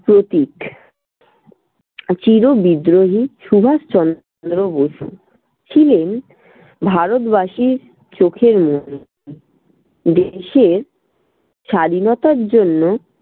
প্রতীক চিরবিদ্রোহী সুভাষচন্দ্র বসু ছিলেন ভারতবাসীর চোখের মণি। দেশের স্বাধীনতার জন্য